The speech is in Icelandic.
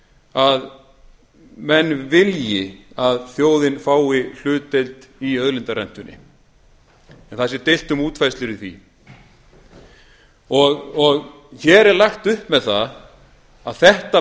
að menn vilji að þjóðin fái hlutdeild í auðlindarentunni en það sé deilt á útfærslur í því hér er lagt upp með það að þetta